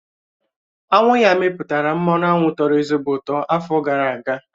Aṅụ ya mepụtara mmanụ aṅụ tọ̀rọ̀ ezigbo ụtọ afọ gara aga